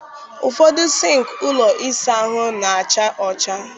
Ụfọdụ sịnkị ụlọ ịsa ahụ na-acha ọcha.